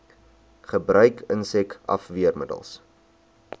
gebruik insek afweermiddels